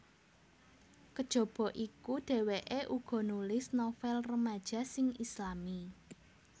Kajaba iku dheweke uga nulis novel remaja sing Islami